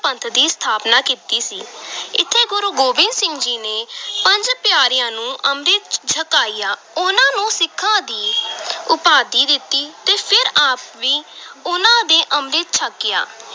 ਪੰਥ ਦੀ ਸਥਾਪਨਾ ਕੀਤੀ ਸੀ ਇੱਥੇ ਗੁਰੂ ਗੋਬਿੰਦ ਸਿੰਘ ਜੀ ਨੇ ਪੰਜ ਪਿਆਰਿਆਂ ਨੂੰ ਅੰਮ੍ਰਿਤ ਛਕਾਇਆ, ਉਨ੍ਹਾਂ ਨੂੰ ਸਿੱਖਾਂ ਦੀ ਉਪਾਧੀ ਦਿੱਤੀ ਤੇ ਫਿਰ ਆਪ ਵੀ ਉਨ੍ਹਾਂ ਦੇ ਅੰਮ੍ਰਿਤ ਛਕਿਆ।